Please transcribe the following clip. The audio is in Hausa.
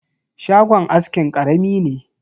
Shagon askin karami ne.